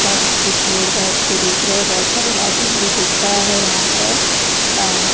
पास कुछ लोग बैठ के देख रहे हैं बहुत सारे लाइटिंग भी दिख रहा है यहाँ पर अ --